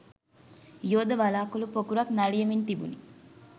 යෝධ වළාකුළු පොකුරක් නලියමින් තිබුණි.